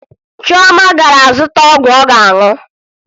Chioma gara zụta ọgwụ ọ ga-aṅụ